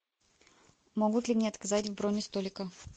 могут ли мне отказать в брони столика